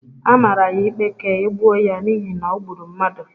A mara ya ikpe ka e gbuo ya n’ihi na o gburu mmadụ